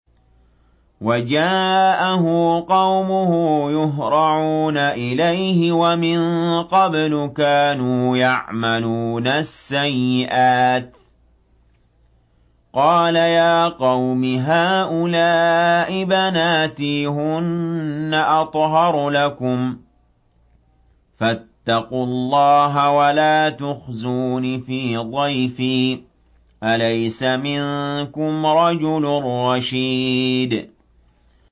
وَجَاءَهُ قَوْمُهُ يُهْرَعُونَ إِلَيْهِ وَمِن قَبْلُ كَانُوا يَعْمَلُونَ السَّيِّئَاتِ ۚ قَالَ يَا قَوْمِ هَٰؤُلَاءِ بَنَاتِي هُنَّ أَطْهَرُ لَكُمْ ۖ فَاتَّقُوا اللَّهَ وَلَا تُخْزُونِ فِي ضَيْفِي ۖ أَلَيْسَ مِنكُمْ رَجُلٌ رَّشِيدٌ